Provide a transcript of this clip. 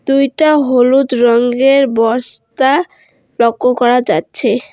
দুইটা হলুদ রঙের বস্তা লক্ষ্য করা যাচ্ছে।